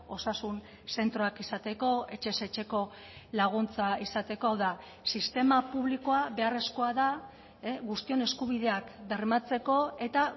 osasun zentroak izateko etxez etxeko laguntza izateko hau da sistema publikoa beharrezkoa da guztion eskubideak bermatzeko eta